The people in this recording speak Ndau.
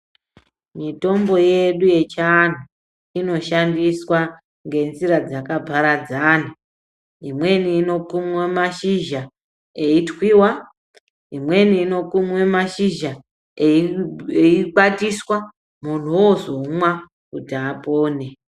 Mitombo yedu yechiandu inoshandiswa ngenzira dzakaparadzana imweni inokumwe mashizha eitwiwa imweni inokumwe mashizha eikwatiswa munhu ozomwa kuti apone.